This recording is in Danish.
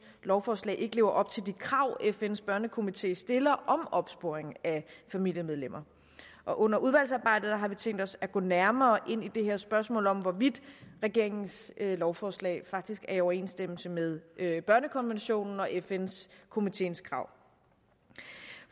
lovforslag ikke lever op til de krav fns børnekomité stiller om opsporing af familiemedlemmer under udvalgsarbejdet har vi tænkt os at gå nærmere ind i det her spørgsmål om hvorvidt regeringens lovforslag faktisk er i overensstemmelse med børnekonventionen og fn komiteens krav